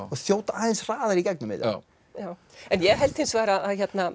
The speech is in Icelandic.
og þjóta aðeins hraðar í gegnum þetta ég held hins vegar